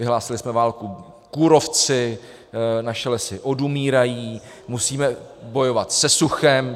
Vyhlásili jsme válku kůrovci, naše lesy odumírají, musíme bojovat se suchem.